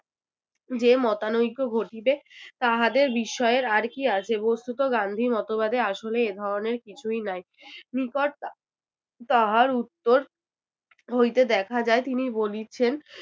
যে মতানৈক্য ঘটিবে তাহাদের বিস্ময়ের আর কী আছে? বস্তুত গান্ধী মতবাদে আসলে এই ধরনের কিছুই নাই। নিকট তাহার উত্তর হইতে দেখা যায় তিনি বলিছেন